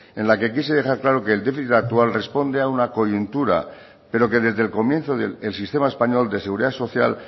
en la que quise dejar claro que el déficit actual responde a una coyuntura pero que desde el comienzo el sistema español de seguridad social